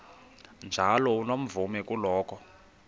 njalo unomvume kuloko